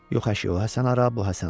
Yox əşi, o Həsən hara, bu Həsən hara.